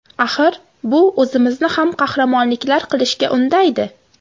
Axir, bu o‘zimizni ham qahramonliklar qilishga undaydi.